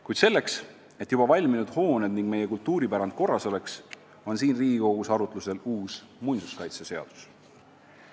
Kuid selleks, et juba valminud hooned ning meie kultuuripärand korras oleks, on siin Riigikogus arutlusel uus muinsuskaitseseadus.